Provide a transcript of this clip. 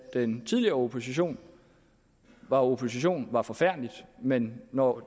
den tidligere opposition var opposition var forfærdeligt men når